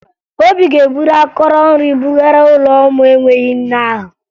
Obi ga-eburu akọrọ nri bugara ụlọ ụmụ enweghi nne ahụ